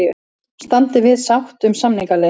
Standi við sátt um samningaleið